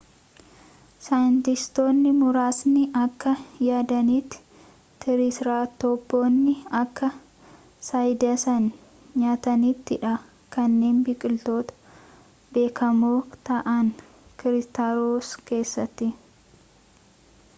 saayintistootni muraasni akka yaadaniiti triceratoponni akka cycadsin nyaataniti dha kanneen biqiloota beekamoo ta'an cretaceous keessatti